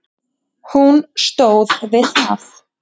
Hann stóð við það.